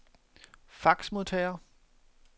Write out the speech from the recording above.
faxmodtager